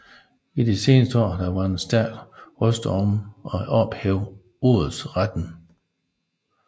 I de seneste år har der været stærke røster for at ophæve odelsretten